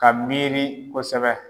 Ka miiri kosɛbɛ.